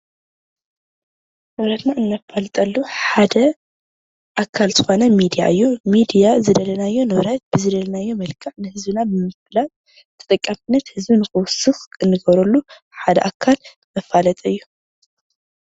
ንብረትና እነፋልጠሉ ሓደ ኣካል ዝኾነ ሚድያ እዩ፡፡ ሚድያ ዝደለናዮ ንብረት ብዝደለናዮ መልክዕ ንህዝብና ብምፍላጥ ተጠቃምነት ንኽውስኽ እንገብረሉ ሓደ ኣካል መፋለጢ እዩ፡፡